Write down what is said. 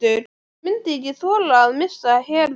Ég myndi ekki þola að missa Heru.